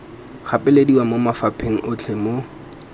gapelediwa mo mafapheng otlhe mo